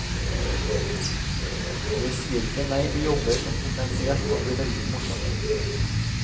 Jeg sier ikke nei til jobber som potensielt kan bli veldig morsomme.